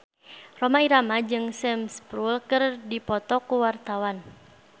Rhoma Irama jeung Sam Spruell keur dipoto ku wartawan